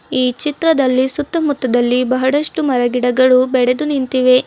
ಈ ಚಿತ್ರದಲ್ಲಿ ಸುತ್ತಮುತ್ತದಲ್ಲಿ ಬಹಳಷ್ಟು ಮರ ಗಿಡಗಳು ಬೆಳೆದು ನಿಂತಿವೆ.